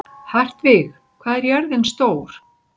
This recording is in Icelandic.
Hartvig, hvað er jörðin stór?